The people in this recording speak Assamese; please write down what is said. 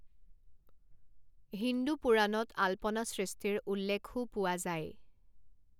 হিন্দু পুৰাণত আল্পনা সৃষ্টিৰ উল্লেখও পোৱা যায়।